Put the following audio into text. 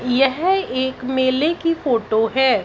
यह एक मेले की फोटो है।